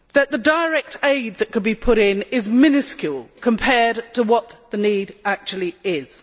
The direct aid that could be put in is miniscule compared to what the need actually is.